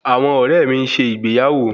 Àwọn ọrẹ mi ń ṣe ìgbéyàwó